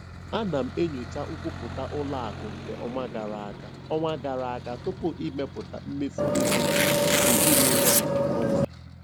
Ana m enyocha nkwupụta ụlọ akụ nke ọnwa gara aga ọnwa gara aga tupu ịmepụta mmefu ego ezinụlọ nke ọnwa a.